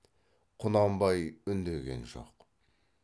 құнанбай үндеген жоқ